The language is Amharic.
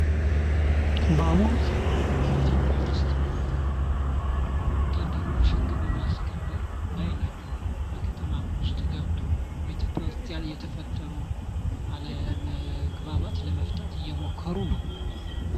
በአሁኑ ሰዓት ኢትዮጵያ ውስጥ ወታደሮች ህግን በማስከበር ውስጥ ከታማ ገብተው የተፈጥሮ አለመግባባቶችን በመፍታት ላይ ናቸው።